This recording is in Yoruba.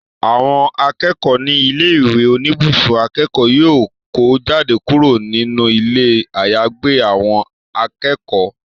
Àwọn akẹ́kọ̀ọ́ ní ilé ìwé oníbùsùn akẹ́kọ̀ọ́ yóò kó jáde kúrò nínú ilé àyàgbé àwọn akẹ́kọ̀ọ́